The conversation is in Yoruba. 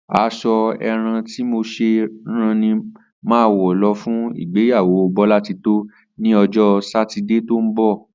As̩o̩ àrán tí mo s̩è̩ rán ni màá wo̩ lo̩ fún ìgbéyàwó Bólátitó ní o̩jó̩ Sátidé tó ń bò̩